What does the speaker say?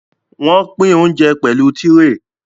Wọ́n pín óńjẹ pẹ̀lú tírè.